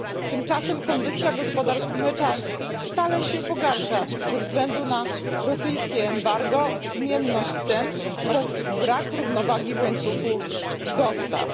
Tymczasem kondycja gospodarstw mleczarskich stale się pogarsza ze względu na rosyjskie embargo, zmienność cen oraz brak równowagi w łańcuchu dostaw.